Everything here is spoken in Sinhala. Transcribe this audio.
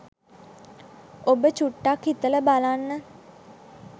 ඔබ චුට්ටක් හිතල බලන්න